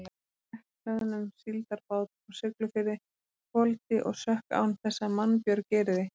Drekkhlöðnum síldarbát frá Siglufirði hvolfdi og sökk án þess að mannbjörg yrði.